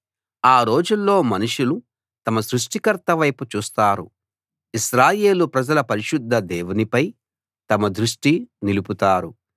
ఆ రోజుల్లో మనుషులు తమ సృష్టికర్త వైపు చూస్తారు ఇశ్రాయేలు ప్రజల పరిశుద్ధ దేవునిపై తమ దృష్టి నిలుపుతారు